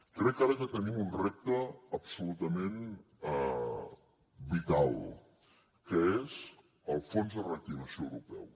crec ara que tenim un repte absolutament vital que és el fons de reactivació europeu